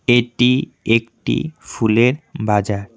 এটি একটি ফুলের বাজার।